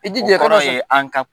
I jija o kɔrɔ an k'a kun